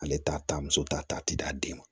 Ale t'a ta muso t'a ta a tɛ d'a den ma